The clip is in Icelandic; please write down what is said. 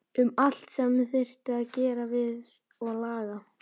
Um allt sem þyrfti að gera við og laga.